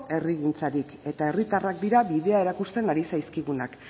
herrigintzarik eta herritarrak dira bidea erakusten ari zaizkigunak